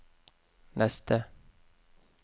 neste